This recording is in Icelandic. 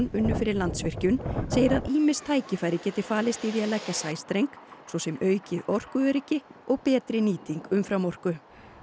unnu fyrir Landsvirkjun segir að ýmis tækifæri geti falist í því að leggja sæstreng svo sem aukið orkuöryggi og betri nýting umframorku